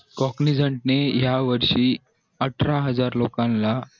या वर्षी अठरा हजार लोकांना